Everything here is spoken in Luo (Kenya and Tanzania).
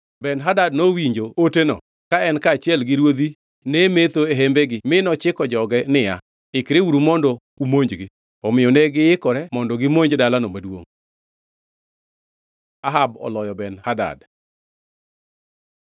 Ben-Hadad nowinjo oteno ka en kaachiel gi ruodhi ne metho e hembegi mi nochiko joge niya, “Ikreuru mondo umonjgi.” Omiyo negiikore mondo gimonj dalano maduongʼ. Ahab oloyo Ben-Hadad